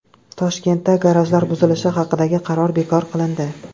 Toshkentda garajlar buzilishi haqidagi qaror bekor qilindi.